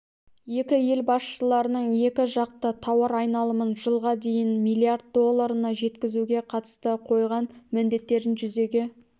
екі ел басшыларының екі жақты тауар айналымын жылға дейін млрд долларына жеткізуге қатысты қойған міндеттерін жүзеге